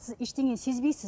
сіз ештеңені сезбейсіз